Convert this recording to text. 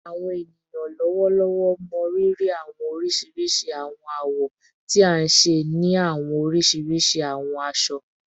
Awọn eniyan lọwọlọwọ mọrírì awọn oriṣiriṣi awọn awọ ti a nṣe ni awọn oriṣiriṣi awọn aṣọ